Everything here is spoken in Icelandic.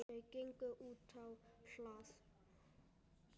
Þau gengu útá hlað.